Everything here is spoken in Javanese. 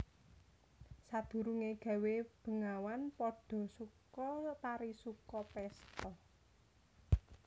Sadurungé gawé bengawan padha suka parisuka pésta